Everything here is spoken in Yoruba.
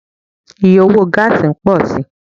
Iye owo gáásì n pọ si